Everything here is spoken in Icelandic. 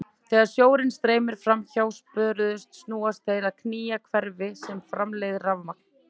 Þegar sjórinn streymir fram hjá spöðunum snúast þeir og knýja hverfil sem framleiðir rafmagn.